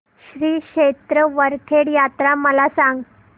श्री क्षेत्र वरखेड यात्रा मला सांग